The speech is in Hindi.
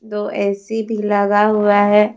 दो ए_सी भी लगा हुआ है।